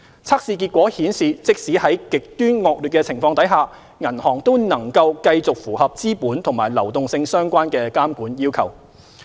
測試結果顯示即使在極端惡劣的情況下，銀行都能夠繼續符合資本和流動性相關的監管要求。